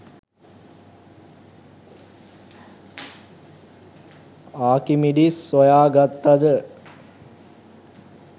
Archimedes සොයාගත්තද